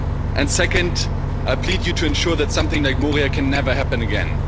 And second, I plead to you to ensure that something like Moria can never happen again.